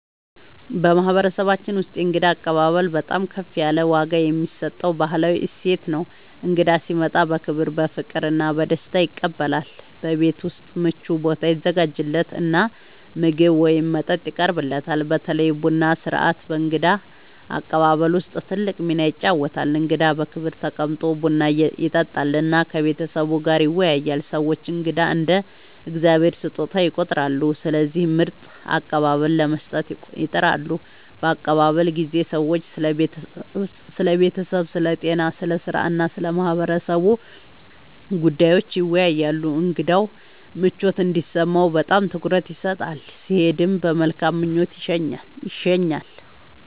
በማህበረሰባችን ውስጥ የእንግዳ አቀባበል በጣም ከፍ ያለ ዋጋ የሚሰጠው ባህላዊ እሴት ነው። እንግዳ ሲመጣ በክብር፣ በፍቅር እና በደስታ ይቀበላል፤ በቤት ውስጥ ምቹ ቦታ ይዘጋጃለት እና ምግብ ወይም መጠጥ ይቀርብለታል። በተለይ ቡና ሥርዓት በእንግዳ አቀባበል ውስጥ ትልቅ ሚና ይጫወታል፣ እንግዳው በክብር ተቀምጦ ቡና ይጠጣል እና ከቤተሰቡ ጋር ይወያያል። ሰዎች እንግዳን እንደ “የእግዚአብሔር ስጦታ” ይቆጥራሉ፣ ስለዚህ ምርጥ አቀባበል ለመስጠት ይጥራሉ። በአቀባበል ጊዜ ሰዎች ስለ ቤተሰብ፣ ስለ ጤና፣ ስለ ሥራ እና ስለ ማህበረሰቡ ጉዳዮች ይወያያሉ። እንግዳው ምቾት እንዲሰማው በጣም ትኩረት ይሰጣል፣ ሲሄድም በመልካም ምኞት ይሸኛል።